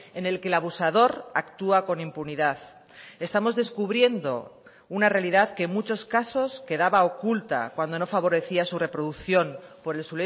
en el que el abusador actúa con impunidad estamos descubriendo una realidad que en muchos casos quedaba oculta cuando no favorecía su reproducción por el